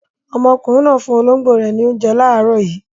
Ọmọkùnrin náà fún olóńgbò rẹ̀ ní oúnjẹ láàárọ̀ yìí.